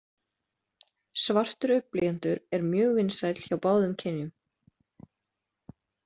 Svartur augnblýantur er mjög vinsæll hjá báðum kynjum.